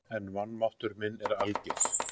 En vanmáttur minn er alger.